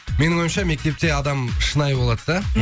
менің ойымша мектепте адам шынайы болады да